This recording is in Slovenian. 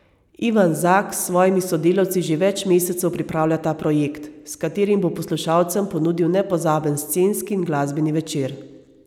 Ivan Zak s svojimi sodelavci že več mesecev pripravlja ta projekt, s katerim bo poslušalcem ponudil nepozaben scenski in glasbeni večer.